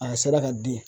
A sera ka di